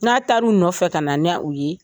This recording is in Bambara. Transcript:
N'a ta u nɔfɛ ka na n'u ye